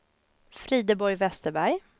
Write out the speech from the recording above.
Frideborg Vesterberg